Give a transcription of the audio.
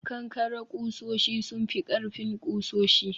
kankare kusoshi sun fi ƙarfin kusoshi